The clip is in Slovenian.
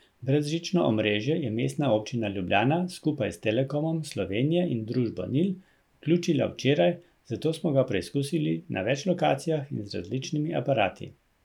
Brezžično omrežje je Mestna občina Ljubljana skupaj s Telekomom Slovenije in družbo Nil vključila včeraj, zato smo ga preskusili na več lokacijah in z različnimi aparati.